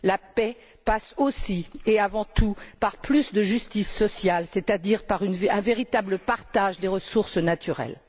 La paix passe aussi et avant tout par plus de justice sociale, c'est à dire par un véritable partage des ressources naturelles.